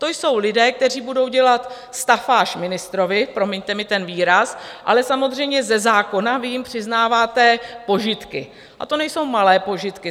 To jsou lidé, kteří budou dělat stafáž ministrovi, promiňte mi ten výraz, ale samozřejmě ze zákona vy jim přiznáváte požitky, a to nejsou malé požitky.